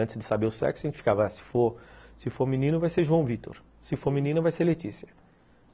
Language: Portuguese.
Antes de saber o sexo, a gente ficava, se for se for menino vai ser João Vitor, se for menina vai ser Letícia.